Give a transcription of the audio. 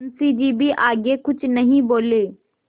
मुंशी जी भी आगे कुछ नहीं बोले